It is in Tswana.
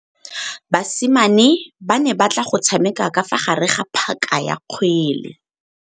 Basimane ba ne batla go tshameka ka fa gare ga phaka ya kgwele.